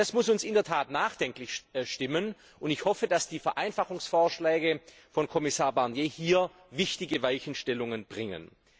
Das muss uns in der Tat nachdenklich stimmen, und ich hoffe, dass die Vereinfachungsvorschläge von Kommissar Barnier hier wichtige Weichenstellungen bringen.